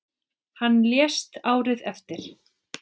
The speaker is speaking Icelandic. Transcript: Hann lést árið eftir.